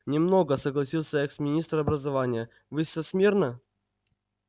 не много согласился экс-министр образования вы со смирно